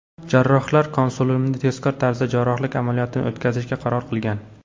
Jarrohlar konsiliumi tezkor tarzda jarrohlik amaliyotini o‘tkazishga qaror qilgan.